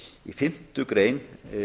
í fimmtu grein